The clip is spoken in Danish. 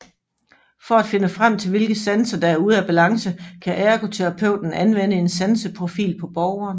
For at finde frem til hvilke sanser der er ude af balance kan ergoterapeuten anvende en sanseprofil på borgeren